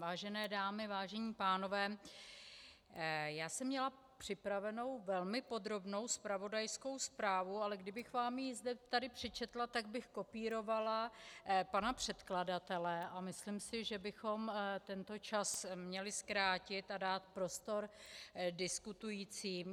Vážené dámy, vážení pánové, já jsem měla připravenou velmi podrobnou zpravodajskou zprávu, ale kdybych vám ji zde tady přečetla, tak bych kopírovala pana předkladatele a myslím si, že bychom tento čas měli zkrátit a dát prostor diskutujícím.